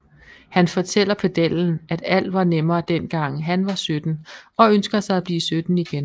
Han fortæller pedellen at alt var nemmere dengang han var 17 og ønsker sig at blive 17 igen